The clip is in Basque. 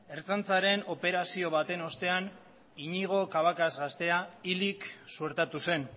ertzaintzaren operazio baten ostean iñigo cabacas gaztea hilik suertatu zen